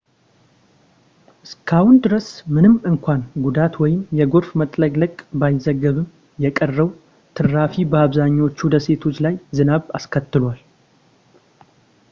እስካሁን ድረስ ምንም እንኳን ጉዳት ወይም የጎርፍ መጥለቅለቅ ባይዘገብም የቀረው ትራፊ በአብዛኞቹ ደሴቶች ላይ ዝናብ አስከትሏል